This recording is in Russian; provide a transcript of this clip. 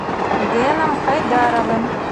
дэном хайдаровым